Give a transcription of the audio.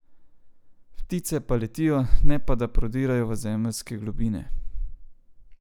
Ptice pa letijo, ne pa da prodirajo v zemeljske globine.